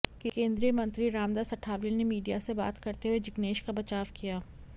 केंद्रीय मंत्री रामदास अठावले ने मीडिया से बात करते हुए जिग्नेश का बचाव किया